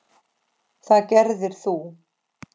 Það gerðir þú.